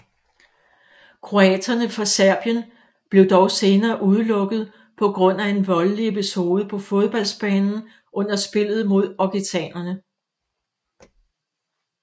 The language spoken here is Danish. Kroaterne fra Serbien blev dog senere udelukket på grund af en voldelig episode på fodboldbanen under spillet mod occitanere